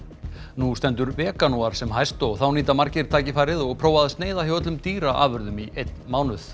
nú stendur veganúar sem hæst og þá nýta margir tækifærið og prófa að sneiða hjá öllum dýraafurðum í einn mánuð